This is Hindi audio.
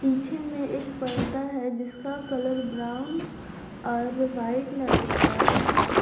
पीछे में एक पर्दा है जिसका कलर ब्राउन और व्हाइट नजर आ रहा है।